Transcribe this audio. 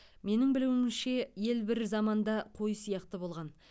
менің білуімше ел бір заманда қой сияқты болған